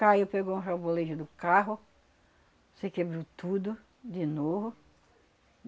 Caiu, pegou um rebolejo do carro, se quebrou tudo de novo.